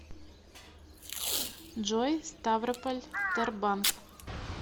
джой ставрополь тербанк